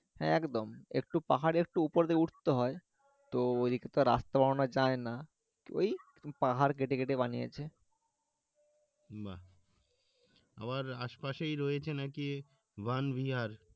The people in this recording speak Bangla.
হ্যাঁ, একদম একটু পাহাড়ে একটু উপর দিয়ে উঠতে হয় তো ঐদিক তো রাস্তা বানানো যায় না ঐ পাহাড় কেটে কেটে বানিয়েছে